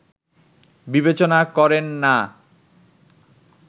বিবেচনা করেন না